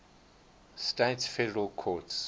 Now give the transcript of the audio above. states federal courts